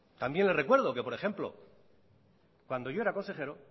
también le recuerdo que por ejemplo cuando yo era consejero